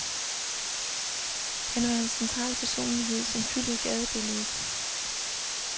Han var en central personlighed, som fyldte gadebilledet.